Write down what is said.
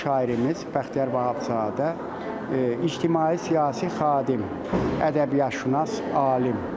Unudulmaz şairimiz Bəxtiyar Vahabzadə ictimai-siyasi xadim, ədəbiyyatşünas, alim.